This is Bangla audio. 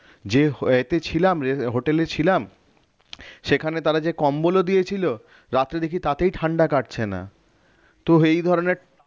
যে ইয়েতে ছিলাম hotel এ ছিলাম সেখানে তারা যে কম্বল ও দিয়েছিল রাত্রে দেখি তাতেই ঠান্ডা কাটছে না তো এই ধরনের